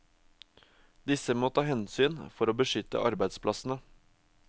Disse må ta hensyn for å beskytte arbeidsplassene.